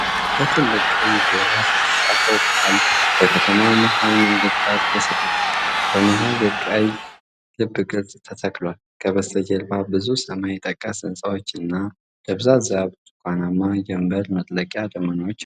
በትልቅ ቀይ ፊደላት የተጻፈው ቃል በከተማ መሃል መንገድ ዳር ተሰቅሏል። በመሃል የቀይ ልብ ቅርጽ ተተክቷል፤ ከበስተጀርባ ብዙ ሰማይ ጠቀስ ሕንፃዎችና ደብዛዛ ብርቱካናማ ጀምበር መጥለቂያ ደመናዎች አሉ።